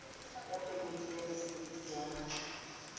ya phemiti ya mosebetsi ya